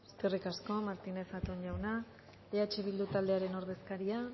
eskerrik asko martínez zatón jauna eh bildu taldearen ordezkaria